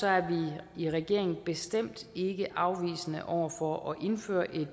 er vi i regeringen bestemt ikke afvisende over for at indføre